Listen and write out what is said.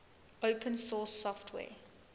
open source software